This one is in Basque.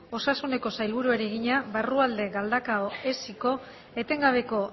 osasuneko sailburuari egina barrualde galdakao esiko etengabeko